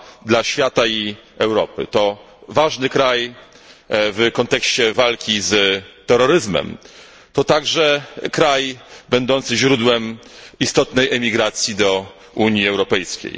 dla świata i Europy, to ważny kraj w kontekście walki z terroryzmem, a także kraj będący źródłem istotnej emigracji do Unii Europejskiej.